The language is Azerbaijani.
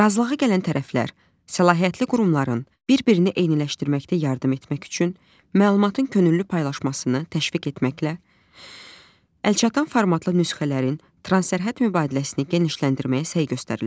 Razılığa gələn tərəflər səlahiyyətli qurumların bir-birini eyniləşdirməkdə yardım etmək üçün məlumatın könüllü paylaşmasını təşviq etməklə, əlçatan formatlı nüsxələrin transsərhəd mübadiləsini genişləndirməyə səy göstərirlər.